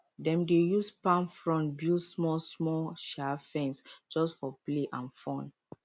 dem dey use palm frond build smallsmall um fence just for play and fun